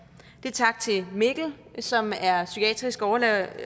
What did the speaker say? det er tak til mikkel som er psykiatrisk overlæge